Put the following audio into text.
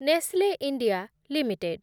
Nestle India limited